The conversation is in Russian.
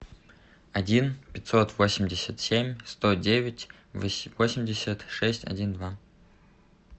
один пятьсот восемьдесят семь сто девять восемьдесят шесть один два